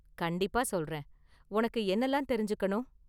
கண்டிப்பா சொல்றேன். உனக்கு என்னலாம் தெரிஞ்சுக்கணும்?